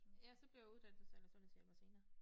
Ja så blev jeg uddannet Social- og sundhedshjælper senere